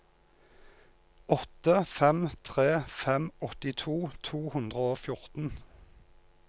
åtte fem tre fem åttito to hundre og fjorten